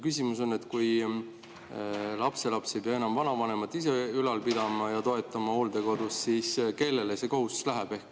Küsimus on, et kui lapselapsed ei pea enam vanavanemat ise ülal pidama ja nende hooldekodus elamist toetama, siis kellele see kohustus läheb.